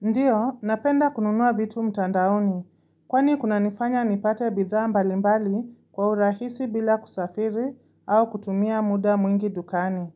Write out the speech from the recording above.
Ndiyo, napenda kununuwa vitu mtandaoni, kwani kuna nifanya nipate bidhaa mbalimbali kwa urahisi bila kusafiri au kutumia muda mwingi dukani.